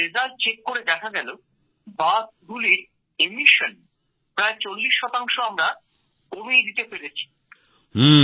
তার ফলাফ্ল পরীক্ষা করে দেখা গেলো বাসগুলির নিঃসরণ প্রায় চল্লিশ শতাংশ আমরা কমিয়ে দিতে পেরেছি